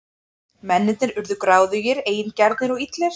Mennirnir urðu gráðugir, eigingjarnir og illir.